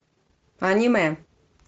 аниме